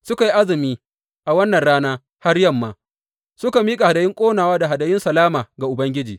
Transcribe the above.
Suka yi azumi a wannan rana har yamma suka miƙa hadayun ƙonawa da hadayun salama ga Ubangiji.